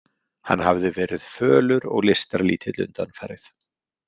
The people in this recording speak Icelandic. Hann hafði verið fölur og lystarlítill undanfarið.